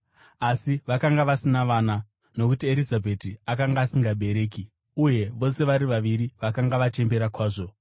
Asi vakanga vasina vana, nokuti Erizabheti akanga asingabereki; uye vose vari vaviri vakanga vachembera kwazvo.